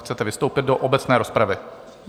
Chcete vystoupit do obecné rozpravy?